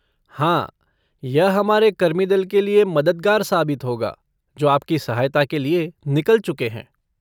हाँ, यह हमारे कर्मीदल कि मददगार साबित होगा जो आपकी सहायता के लिए निकल चुके हैं।